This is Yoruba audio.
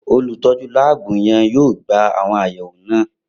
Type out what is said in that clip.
Olutọju laabu yẹn yoo gba awọn ayẹwo naa